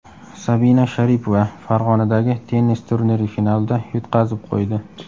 Sabina Sharipova Farg‘onadagi tennis turniri finalida yutqazib qo‘ydi.